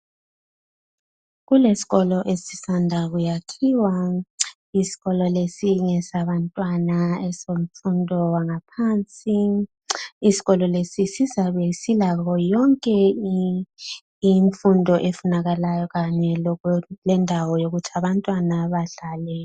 Kulesikolo esisanda kuyakhiwa isikolo lesi ngesabantwana bemfundo engaphasi isikolo lesi sizabe silayo yonke imfundo efunekalayo kanye lendawo yokuthi abantwana badlale.